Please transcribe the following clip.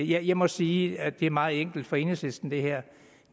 jeg må sige at det her er meget enkelt for enhedslisten der